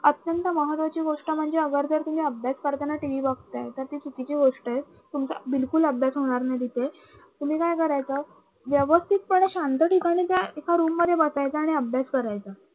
अत्यंत महत्वाची गोष्ट म्हणजे अगर जर तुम्ही अभ्यास करताना TV बघतायेत तर ती चुकीची गोष्ट आहे. तुमचा बिलकुल अभ्यास होणार नाही तिथे तुम्ही काय करायचं व्यवस्थितपणे शांत ठिकाणी एका room मध्ये बसायच आणि अभ्यास करायचा